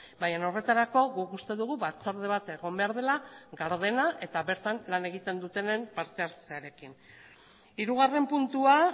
baina horretarako guk uste dugu batzorde bat egon behar dela gardena eta bertan lan egiten dutenen parte hartzearekin hirugarren puntua